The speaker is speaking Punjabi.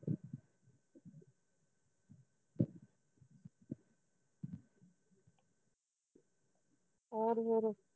ਹੋਰ ਹੋਰ